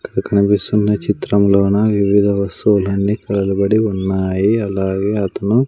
ఇక్కడ కనిపిస్తున్న చిత్రంలోన వివిద వస్తువులన్నీ కలదబడి ఉన్నాయి అలాగే అతను--